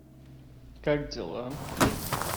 как дела